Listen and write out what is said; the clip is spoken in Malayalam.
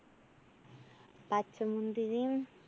പച്ചമുന്തിരിം,